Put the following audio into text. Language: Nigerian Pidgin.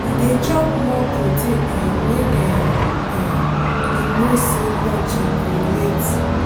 he dey chop more protein um when um um him know say lunch um go late.